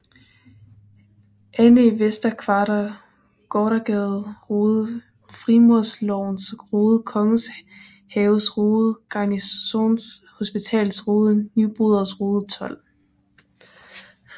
Annæ Vester Kvarter Gotersgades Rode Frimurerlogens Rode Kongens Haves Rode Garnisons Hospitals Rode Nyboders Rode 12